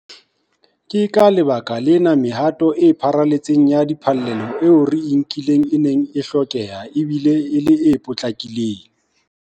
Ke ka lebaka lena mehato e pharaletseng ya diphallelo eo re e nkileng e neng e hlokeha e bile e le e potlakileng.